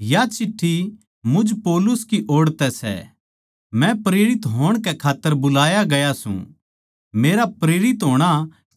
या चिट्ठी मुझ पौलुस की ओड़ तै सै मै प्रेरित होण कै खात्तर बुलाया गया सूं मेरा प्रेरित होणा